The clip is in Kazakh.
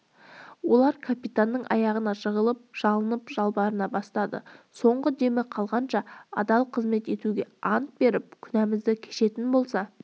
олар капитанның аяғына жығылып жалынып-жалбарына бастады соңғы демі қалғанша адал қызмет етуге ант беріп күнәмізді кешетін болса